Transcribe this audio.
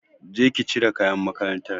Je ki cire kayan makarantar.